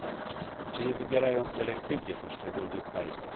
Czy Chiny nie wybierają selektywnie poszczególnych państw?